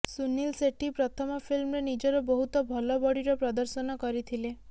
ସୁନୀଲ ସେଠ୍ହି ପ୍ରଥମ ଫିଲ୍ମରେ ନିଜର ବହୁତ ଭଲ ବଡିର ପ୍ରଦର୍ଶନ କରିଥିଲେ